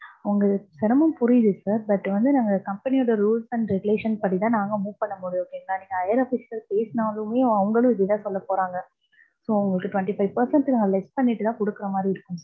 உங்களுக்கு சிரமம் புரியுது sir. But வந்து நாங்க company ஓட rules and regulation படி தான் நாங்க move பண்ண முடியும். okay ங்களா. நீங்க higher official பேசுனாலுமே அவங்களும் இதே தான் சொல்ல போறாங்க. so உங்களுக்கு twenty five percent நான் less பண்ணிட்டு தான் குடுக்குற மாறி இருக்கும்.